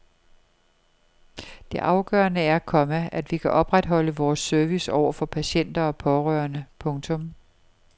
Det afgørende er, komma at vi kan opretholde vores service over for patienter og pårørende. punktum